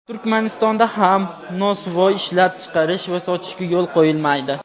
Turkmaniston)da ham nosvoy ishlab chiqarish va sotishga yo‘l qo‘yilmaydi.